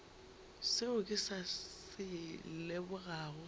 seo ke sa se lebogago